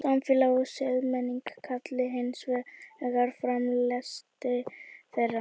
samfélag og siðmenning kalli hins vegar fram lesti þeirra